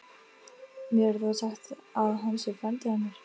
Mér er þó sagt að hann sé frændi hennar.